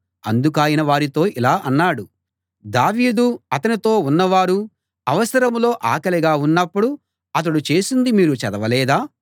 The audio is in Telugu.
అందుకాయన వారితో ఇలా అన్నాడు దావీదు అతనితో ఉన్నవారు అవసరంలో ఆకలిగా ఉన్నప్పుడు అతడు చేసింది మీరు చదవలేదా